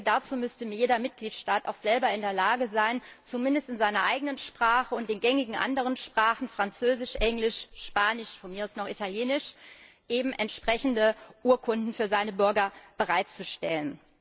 Dazu müsste jeder Mitgliedstaat auch selber in der Lage sein, zumindest in seiner eigenen Sprache und den gängigen anderen Sprachen Französisch, Englisch, Spanisch, von mir aus noch Italienisch eben entsprechende Urkunden für seine Bürger bereitzustellen.